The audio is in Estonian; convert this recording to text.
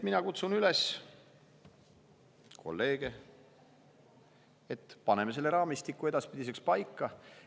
Mina kutsun kolleege üles, et paneme selle raamistiku edaspidiseks paika.